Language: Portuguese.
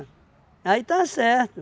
Aí está certo.